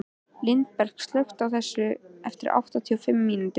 Lindberg, slökktu á þessu eftir áttatíu og fimm mínútur.